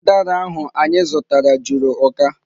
Udara ahụ anyị zụtara juru uka.